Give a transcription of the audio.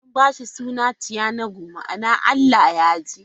An ba shi suna 'Chianugo' ma'ana 'Allah ya ji'.